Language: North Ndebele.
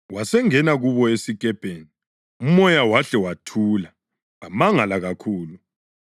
Wasengena kubo esikepeni umoya wahle wathula. Bamangala kakhulu,